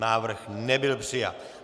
Návrh nebyl přijat.